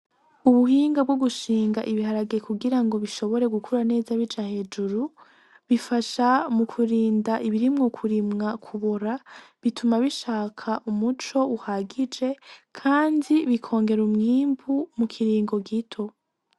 Ubuhinga bwo gushinga ibiharage kugirango bishobore gukura neza bija hejuru bifasha mukurinda ibiri mukurimwa kubora bituma bishaka umuco uhagije kandi bikongera umwimbu mu kiringo gito.